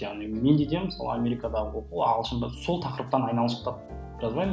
яғни менде де мысалы америкадағы оқу ағылшында сол тақырыптан айналшықтап жазбаймын